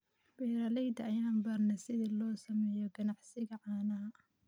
Beeralayda ayaa baranaya sida loo sameeyo ganacsiga caanaha.